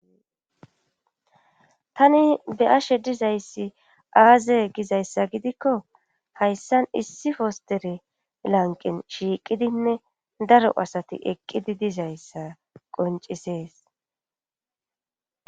tani be ashe dizayssi aaze gizayssa gidikko hayssan issi fostere lanqin shiiqidinne daro asati eqqidi dizayssa qoncisees